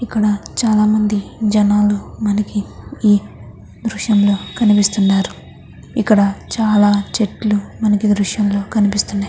ఇక్కడ చాలామంది జనాలు మనకు ఈ దృశ్యంలో కనిపిస్తూ ఉన్నారు. ఇక్కడ చాలా చెట్లు మనకి ఈ దృశ్యం లో కనిపిస్తున్నాయి.